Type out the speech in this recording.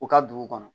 U ka dugu kɔnɔ